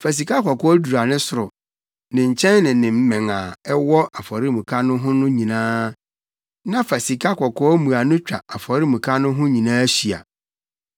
Fa sikakɔkɔɔ dura ne soro, ne nkyɛn ne ne mmɛn a ɛwɔ afɔremuka no ho no nyinaa. Na fa sikakɔkɔɔ mmuano twa afɔremuka no ho nyinaa hyia.